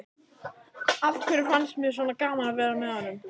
Af hverju fannst mér svona gaman að vera með honum?